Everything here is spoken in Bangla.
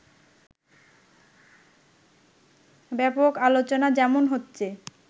ব্যাপক আলোচনা যেমন হচ্ছে